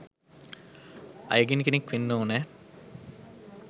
අයගෙන් කෙනෙක් වෙන්න ඕනෑ.